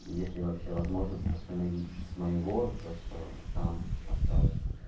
если вообще возможность восстановить с моего то что там осталось